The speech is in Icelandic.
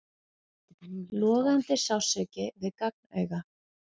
Logandi sársauki við gagnauga.